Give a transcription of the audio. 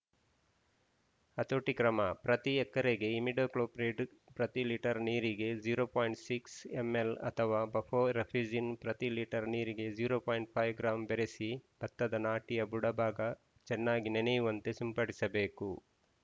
ಹತೋಟಿ ಕ್ರಮ ಪ್ರತಿ ಎಕರೆಗೆ ಇಮಿಡಾಕ್ಲೋ ಪ್ರಿಡ್‌ ಪ್ರತಿ ಲೀಟರ್‌ ನೀರಿಗೆ ಝೀರೋ ಪೋಯಿಂಟ್ ಸಿಕ್ಸ್ ಎಂಎಲ್‌ ಅಥವಾ ಬಫೊ ರೕಫೆಜಿನ್‌ ಪ್ರತಿ ಲೀಟರ್‌ ನೀರಿಗೆ ಝೀರೋ ಪೋಯಿಂಟ್ ಫೈವ್ ಗ್ರಾಂ ಬೆರೆಸಿ ಬತ್ತದ ನಾಟಿಯ ಬುಡ ಭಾಗ ಚೆನ್ನಾಗಿ ನೆನೆಯುವಂತೆ ಸಿಂಪಡಿಸಬೇಕು